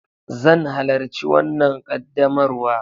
Zan halarci wanna ƙaddamarwa.